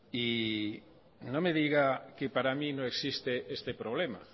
y no me diga que para mí no existe este problema